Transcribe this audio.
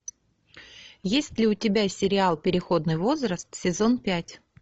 есть ли у тебя сериал переходный возраст сезон пять